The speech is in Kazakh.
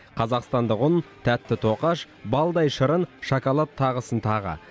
қазақстандық ұн тәтті тоқаш балдай шырын шоколад тағысын тағы